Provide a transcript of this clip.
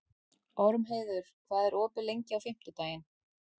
Ormheiður, hvað er opið lengi á fimmtudaginn?